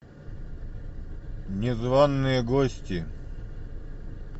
незваные гости